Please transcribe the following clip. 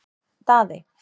Daðey